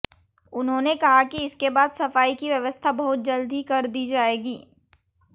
उन्होंने कहा कि इसके बाद सफाई की व्यवस्था बहुत जल्द ही कर दी जाएगी